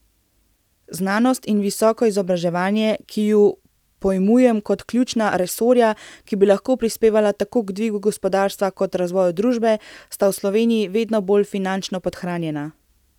Znanost in visoko izobraževanje, ki ju pojmujem kot ključna resorja, ki bi lahko prispevala tako k dvigu gospodarstva kot razvoju družbe, sta v Sloveniji vedno bolj finančno podhranjena.